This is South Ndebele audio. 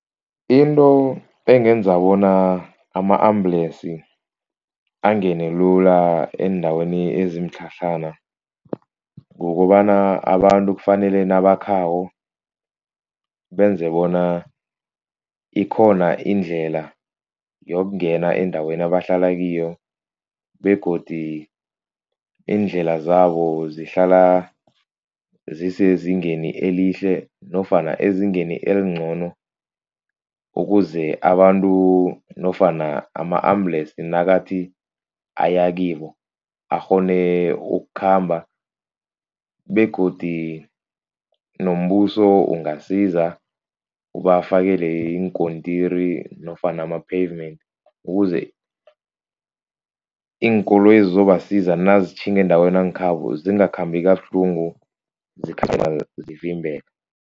Into engenza bona ama-ambulance angene lula eendaweni ezimitlhatlhana kukobana abantu kufanele nabakhako benze bona ikhona indlela yokungena endaweni abahlala kiyo begodu iindlela zabo zihlala zisezingeni elihle nofana ezingeni elincono ukuze abantu nofana ama-ambulance nakathi ayakibo, akghone ukukhamba begodu nombuso ungasiza ubafakele iinkontirini nofana ama-pavement ukuze iinkoloyi ezizobasiza nazitjhinga endaweni yangekhabo zingakhambi kabuhlungu, zikhamba